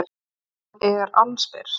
Hann er allsber.